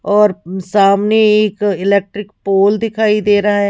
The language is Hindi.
और सामने एक इलेक्ट्रिक पोल दिखाई दे रहा है।